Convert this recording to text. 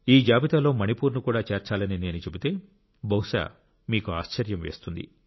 ఈ జాబితాలో మణిపూర్ను కూడా చేర్చాలని నేను చెబితే బహుశా మీకు ఆశ్చర్యం వేస్తుంది